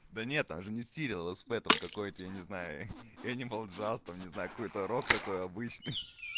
да нет там же не сериал сп там какой-то я не знаю энимал джаз там не знаю какой-то рок такой обычный